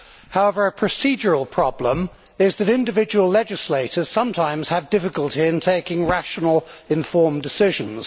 However, a procedural problem is that individual legislators sometimes have difficulty in taking rational, informed decisions.